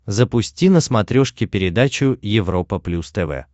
запусти на смотрешке передачу европа плюс тв